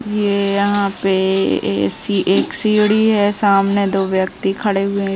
ये यहाँ पे ए सि एक सीढ़ी हैं | सामने दो व्यक्ति खड़े हुये हैं।